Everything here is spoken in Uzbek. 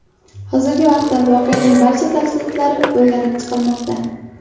Hozirgi vaqtda voqeaning barcha tafsilotlari o‘rganib chiqilmoqda.